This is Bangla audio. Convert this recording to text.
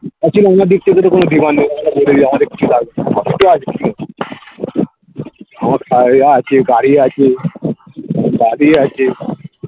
actually আমার দিক থেকে তো কোনো demand নেই আমার আছে গাড়ি আছে বাড়ি আছে